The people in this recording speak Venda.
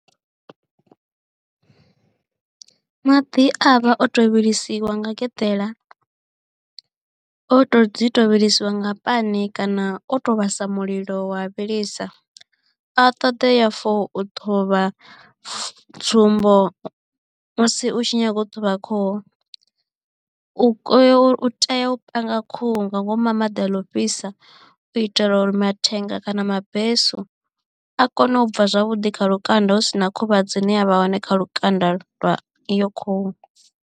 Maḓi a vha o tou vhilisiwa nga geḓela o to dzi tou vhilisiwa nga pani kana o to vhasa mulilo wa vhilisa a ṱoḓea for u ṱhuvha tsumbo musi u tshi nyaga u ṱhuvha khuhuu tea u panga khuhu nga ngomu ha maḓi a ḽa ofhisa u itela uri mathenga kana mabesu a kone u bva zwavhuḓi kha lukanda hu si na khuvhadzo ine ya vha hone kha lukanda lwa iyo khuhu.